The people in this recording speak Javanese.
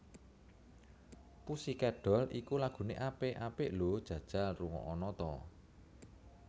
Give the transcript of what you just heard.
Pussycat Dolls iki lagune apik apik lho jajal rungokno ta